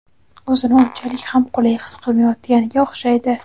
o‘zini unchalik ham qulay his qilmayotganga o‘xshaydi.